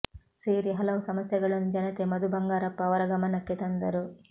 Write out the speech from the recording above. ಸೇರಿ ಹಲವು ಸಮಸ್ಯೆಗಳನ್ನು ಜನತೆ ಮಧು ಬಂಗಾರಪ್ಪ ಅವರ ಗಮನಕ್ಕೆ ತಂದರು